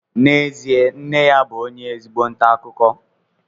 n'ezie nne ya bụ ezigbo onye nta akụkọ